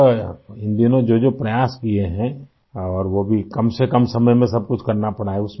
captain, آپ نے ان دنوں جو جو کوششیں کی ہیں ، اور وہ بھی کم سے کم وقت میں ، سب کچھ کرنا پڑتا ہے